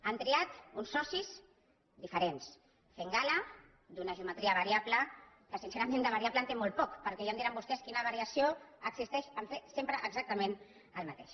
han triat uns socis diferents fent gala d’una geometria variable que sincerament de variable en té molt poc perquè ja em diran vostès quina variació existeix en fer sempre exactament el mateix